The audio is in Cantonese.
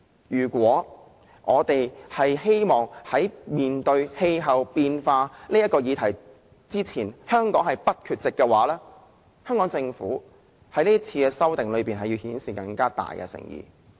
如果香港希望在面對氣候變化的議題時不缺席，政府在此次修訂之中便要顯示更大的誠意。